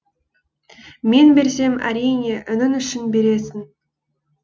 мен берсем әрине інің үшін бересің